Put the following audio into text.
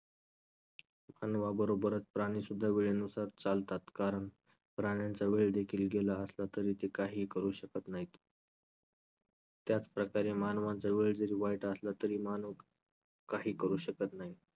मानवाबरोबरच प्राणीसुद्धा वेळेनुसार चालतात कारण प्राण्यांचा वेळदेखील गेला असला तरी ते काहीही करू शकत नाहीत. त्याचप्रकारे मानवाचा वेळ जरी वाईट असला तरी माणूस काही करू शकत नाही.